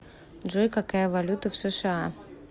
джой какая валюта в сша